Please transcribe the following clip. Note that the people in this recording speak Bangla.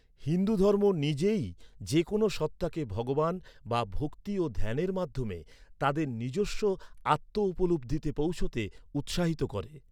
হিন্দুধর্ম নিজেই যেকোন সত্তাকে ভগবান বা ভক্তি ও ধ্যানের মাধ্যমে তাদের নিজস্ব আত্ম উপলব্ধিতে পৌঁছতে উৎসাহিত করে।